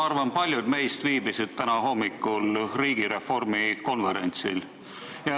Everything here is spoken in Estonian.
Ma arvan, et paljud meist viibisid täna hommikul riigireformi konverentsil.